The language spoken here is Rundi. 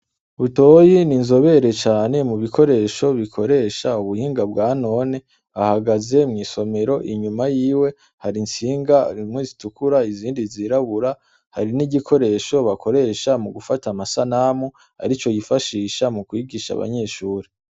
Butoyi n'inzobere cane mubikoresho bikoresha ubuhinga bwanone. Ahagaze mw'isomero inyuma yiwe har'intsinga zimwe zitukura izindi zirabura, hari n'igikoresho bakoresha mugufata amasanamu arico yifashisha mukwigisha abanyeshure.